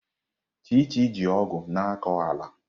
Chichi ji ọgụ̀ na-akọ ala.